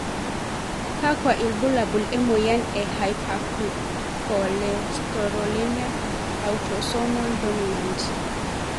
kakua ilbulabul emoyian e Hypercholesterolemia, autosomol dominant?